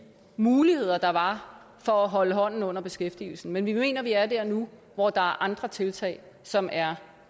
muligheder der var for at holde hånden under beskæftigelsen men vi mener vi er der nu hvor der er andre tiltag som er